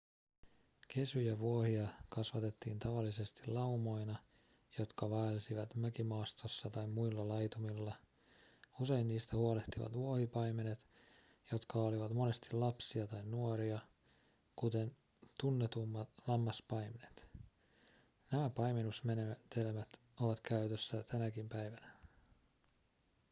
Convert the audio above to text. kesyjä vuohia kasvatettiin tavallisesti laumoina jotka vaelsivat mäkimaastossa tai muilla laitumilla usein niistä huolehtivat vuohipaimenet jotka olivat monesti lapsia tai nuoria kuten tunnetummat lammaspaimenet nämä paimennusmenetelmät ovat käytössä tänäkin päivänä